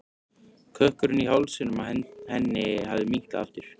Kökkurinn í hálsinum á henni hafði minnkað aftur.